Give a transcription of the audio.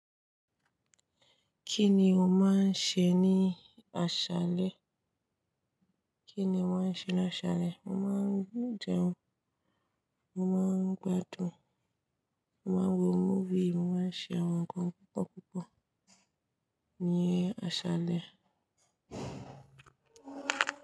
Kí ni o máa ń ṣe ní àṣálẹ́? Kí ni wọ́n ṣe laṣàlẹ̀? Mo máa ń jẹun, mo máa ń gbádùn, mo máa ń wo múfì, mo máa ń ṣe àwọn nǹkan púpọ̀púpọ̀ ní àṣálẹ́